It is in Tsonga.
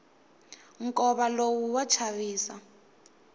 nkova lowu wa chavisa